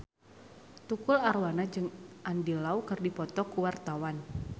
Tukul Arwana jeung Andy Lau keur dipoto ku wartawan